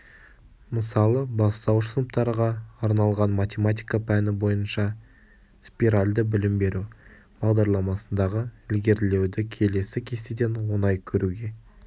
мысалы бастауыш сыныптарға арналған математика пәні бойынша спиральді білім беру бағдарламасындағы ілгерілеуді келесі кестеден оңай көруге